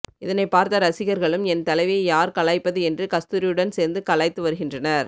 இதனை பார்த்த ரசிகர்களும் என் தலைவியை யார் கலாய்ப்பது என்று கஸ்தூரியுடன் சேர்ந்து கலாய்த்து வருகின்றனர்